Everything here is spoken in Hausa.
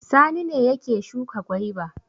Sani ne yake shuka gwaiba.